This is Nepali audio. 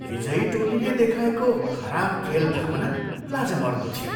विजयी टोलीले देखाएको खराब खेलभावना लाजमर्दो थियो।